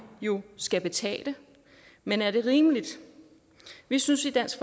jo skal betale men er det rimeligt vi synes i dansk